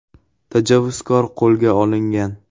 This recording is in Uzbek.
Tajovuzkor qo‘lga olingan.